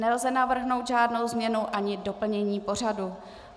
Nelze navrhnout žádnou změnu ani doplnění pořadu.